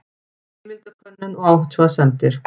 Heimildakönnun og athugasemdir.